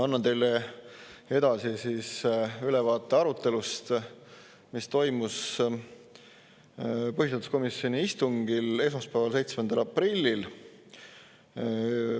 Annan teile edasi ülevaate arutelust, mis toimus põhiseaduskomisjoni istungil esmaspäeval, 7. aprillil.